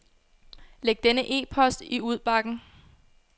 Læg denne e-post i udbakken.